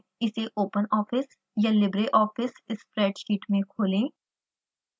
इसे open office या libreoffice spreadsheet में खोलें